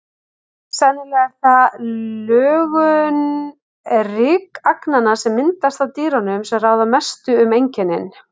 Sennilega er það lögun rykagnanna, sem myndast af dýrunum, sem ráða mestu um einkennin.